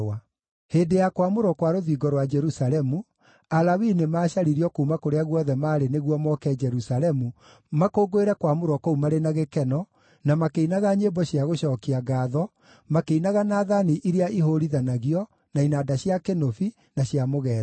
Hĩndĩ ya kwamũrwo kwa rũthingo rwa Jerusalemu, Alawii nĩmacaririo kuuma kũrĩa guothe maarĩ nĩguo moke Jerusalemu makũngũĩre kwamũrwo kũu marĩ na gĩkeno, na makĩinaga nyĩmbo cia gũcookia ngaatho, makĩinaga na thaani iria ihũũrithanagio, na inanda cia kĩnũbi, na cia mũgeeto.